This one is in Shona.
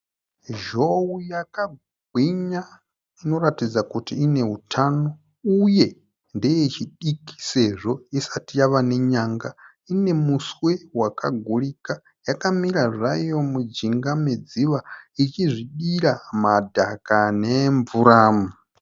Zhou yakagwinya inoratidza kuti ine hutano uye ndeye chidiki sezvo isati yave nenyanga. Ine muswe wakagurika yakamira zvayo mujinga medziva ichizvidira madhaka nemvura.